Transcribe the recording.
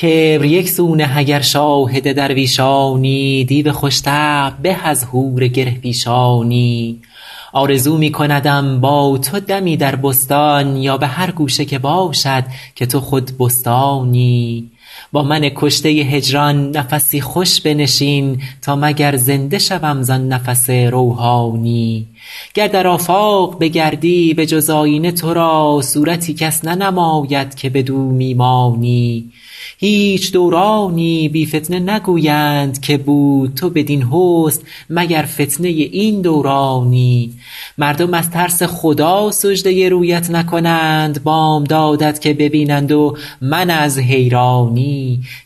کبر یک سو نه اگر شاهد درویشانی دیو خوش طبع به از حور گره پیشانی آرزو می کندم با تو دمی در بستان یا به هر گوشه که باشد که تو خود بستانی با من کشته هجران نفسی خوش بنشین تا مگر زنده شوم زآن نفس روحانی گر در آفاق بگردی به جز آیینه تو را صورتی کس ننماید که بدو می مانی هیچ دورانی بی فتنه نگویند که بود تو بدین حسن مگر فتنه این دورانی مردم از ترس خدا سجده رویت نکنند بامدادت که ببینند و من از حیرانی